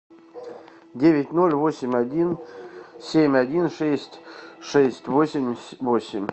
девять ноль восемь один семь один шесть шесть восемьдесят восемь